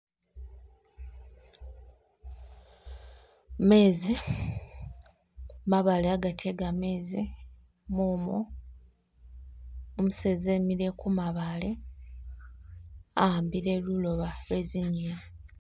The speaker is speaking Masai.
Mezi, mabaale hagati he gamezi, mumu, umuseza emile kumabaale ahambile luloba lwezinyeni